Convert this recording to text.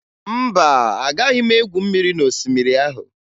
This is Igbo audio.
Mba, agaghị m egwu mmiri n'osimiri ahụ